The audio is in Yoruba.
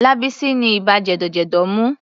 Lábísí ni ibà jẹ̀dọ̀jẹ̀dọ̀ mú.